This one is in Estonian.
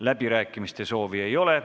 Läbirääkimiste soovi ei ole.